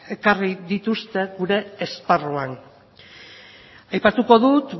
ekarri dituzte gure esparruan aipatuko dut